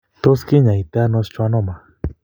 Tos klinyaitano schwannoma?